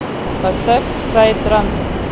поставь псай транс